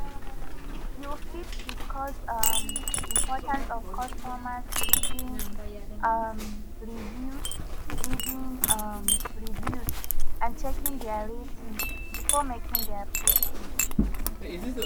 you fit discuss um di importance of customers reading um reviews reading um reviews and checking dia ratings before making dia purchase